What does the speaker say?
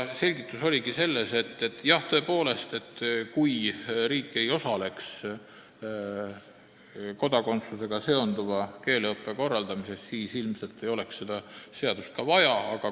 Selgitus oli selline, et kui riik ei osaleks kodakondsusega seonduva keeleõppe korraldamises, siis ilmselt ei oleks seda seadust vaja.